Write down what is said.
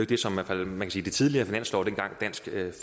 det som er faldet mest i de tidligere finanslove dengang dansk